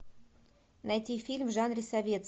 найти фильм в жанре советский